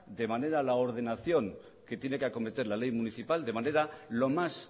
de la ordenación que tiene que acometer la ley municipal de manera lo más